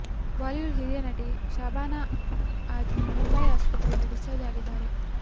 Bollywood ಹಿರಿಯ ನಟಿ ಶಬಾನ ಅಜ್ಮಿ ಮುಂಬೈ ಆಸ್ಪತ್ರೆಯಿಂದ ಡಿಸ್ಚಾರ್ಜ್ ಆಗಿದ್ದಾರೆ